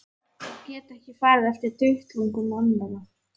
Og get ekki farið eftir duttlungum annarra.